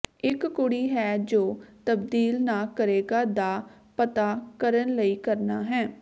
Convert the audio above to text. ਇਕ ਕੁੜੀ ਹੈ ਜੋ ਤਬਦੀਲ ਨਾ ਕਰੇਗਾ ਦਾ ਪਤਾ ਕਰਨ ਲਈ ਕਰਨਾ ਹੈ